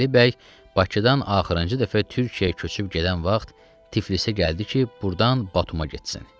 Əli bəy Bakıdan axırıncı dəfə Türkiyəyə köçüb gedən vaxt Tiflisə gəldi ki, burdan Batuma getsin.